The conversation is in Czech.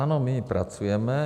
Ano, my pracujeme.